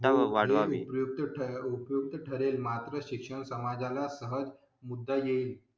वाढवावी शिक्षण समाजा ला हाच मुद्दा येईल.